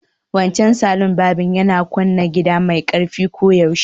Wancan salon barbing yana kunna kiɗa mai ƙarfi koyaushe